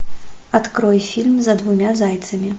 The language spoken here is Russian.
открой фильм за двумя зайцами